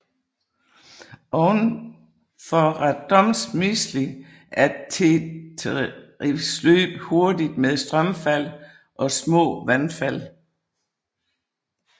Ovenfor Radomysjl er Téterivs løb hurtigt med strømfald og små vandfald